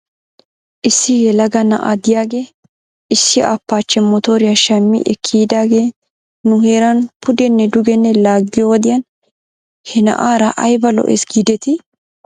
Issi yelaga na'a diyaagee issi appaachche motoriyo shammi ekki yiidaagee nu heeran pudenne dugenne laaggiyoo wodiyan he na'aara ayba lo'es giidetii?